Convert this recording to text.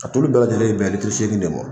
A tulu bɛɛ lajɛlen bɛ bɛn litiri seegin de mɔ.